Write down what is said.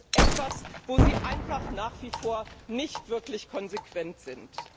Das ist etwas, wo Sie einfach nach wie vor nicht wirklich konsequent sind.